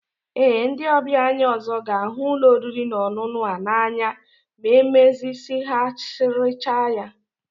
Ee, ndị ọbịa anyị ọzọ ga-ahụ ụlọ oriri na ọṅụṅụ a n'anya ma emezigharịchaa ya